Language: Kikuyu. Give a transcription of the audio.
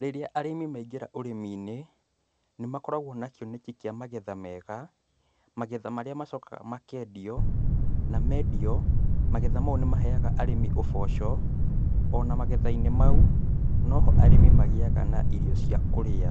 Rĩrĩa arĩmi maingĩra ũrĩminĩ, nĩmakoragwo na kioneki kĩa magetha mega, magetha marĩa macokaga makendio, namendio, magetha mau nĩ maheaga arĩmi ũboco, ona magethainĩ mau, no ho arĩmi magĩaga na irio cia kũrĩa.